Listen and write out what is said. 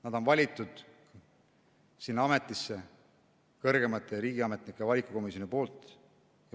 Nad on valitud sinna ametisse kõrgemate riigiametnike valikukomisjoni poolt.